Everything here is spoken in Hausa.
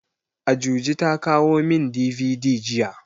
Ajuji ta kawo min DVD jiya.